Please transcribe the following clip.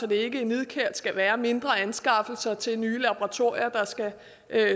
det ikke nidkært skal være mindre anskaffelser til nye laboratorier der skal